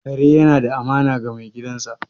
Kare yana da amana ga mai gidansa